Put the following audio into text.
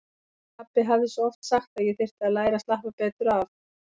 Pabbi hafði svo oft sagt að ég þyrfti að læra að slappa betur af.